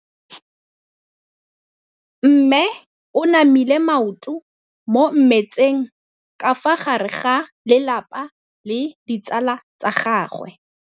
Mme o namile maoto mo mmetseng ka fa gare ga lelapa le ditsala tsa gagwe.